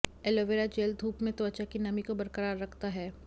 aloe vera gel धूप में त्वचा की नमी को बरकरार रखता है